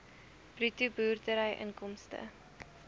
bruto boerdery inkomste